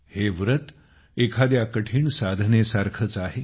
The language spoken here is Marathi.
हे व्रत एखाद्या कठीण साधनेसारखेच आहे